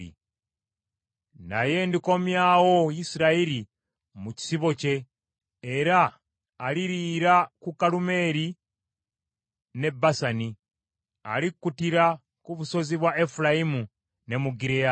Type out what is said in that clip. Naye ndikomyawo Isirayiri mu kisibo kye era aliriira ku Kalumeeri ne Basani; alikuttira ku busozi bwa Efulayimu, ne mu Gireyaadi.